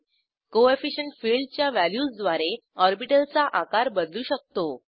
coefficient फिल्डच्या व्हॅल्यूजद्वारे orbital चा आकार बदलू शकतो